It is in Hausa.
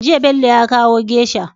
Jiya Bello ya kawo geisha